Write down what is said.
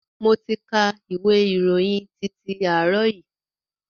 Mo ti ka ìwé ìròyìn titi àárọ̀ yìí.